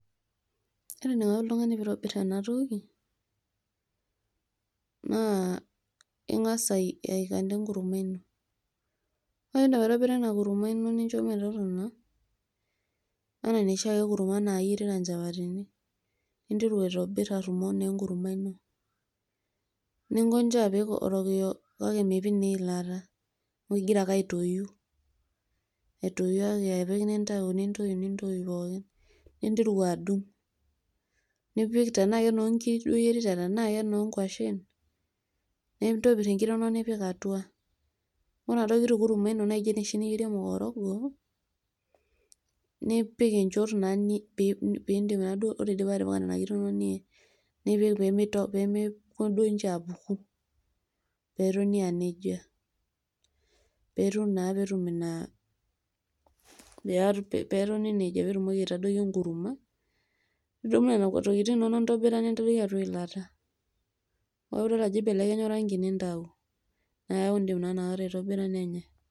ore eneiko oltung'ani pee itobir ena toki ingas aitobir ena kurma ino. anaa enosi nintobir imukateni, nincho metotona. nipik orokiyo enkima kake mipik eilata ningas aitoyu. ninteru adung'.ninteru apik, tenaa kenoo nkiri duoo oyierita tenaa kenoo nkwashen. nipik inkiri atua.